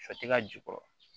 Shɔ tɛ ka ju kɔrɔ